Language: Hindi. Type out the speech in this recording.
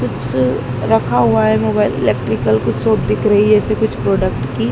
कुछ रखा हुआ है मोबाइल इलेक्ट्रिकल कुछ शॉप दिख रही है ऐसे कुछ प्रोडक्ट की।